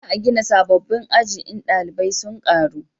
za a gina sabobbin aji in dalibai sun karu